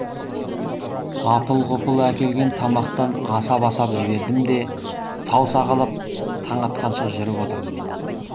апыл ғұпыл әкелген тамақтан асап асап жібердім де тау сағалап таң атқанша жүріп отырдым